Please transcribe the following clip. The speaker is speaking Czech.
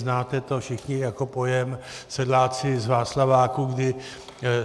Znáte to všichni jako pojem sedláci z Václaváku, kdy